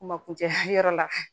Kuma kuncɛ yɔrɔ la